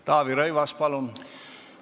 Taavi Rõivas, palun!